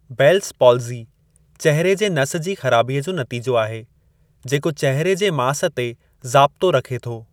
Bells palsy चेहिरे जे नस जी ख़राबीअ जो नतीजो आहे, जेको चहिरे जे मास ते ज़ाब्तो रखे थो।